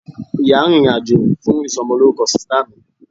ìyá rìnrìn àjò fún isomoloruko sista mi